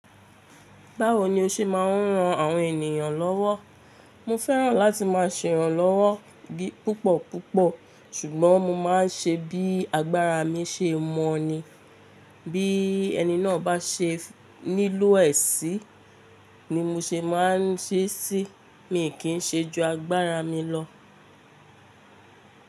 Báwo ni o ṣe máa ń ran àwọn ènìyàn lọ́wọ́? Mo fẹ́ràn láti má a ṣe iranlọ́wọ́ púpọ̀ púpọ̀ ṣùgbọ́n mo má a n ṣe bí agbára mi ṣe mọ̀ ni. Bí ẹni náà bá ṣe nílò ẹ̀sí ni mo ṣe má a ń ṣí ṣí, mi kì í ṣe ju agbára mi lọ.